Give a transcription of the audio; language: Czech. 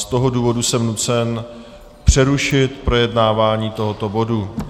Z toho důvodu jsem nucen přerušit projednávání tohoto bodu.